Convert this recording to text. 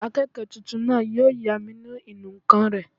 Akẹ́kọ̀ọ́ tuntun náà yóò yá mi ní ìnù-ǹkan rẹ̀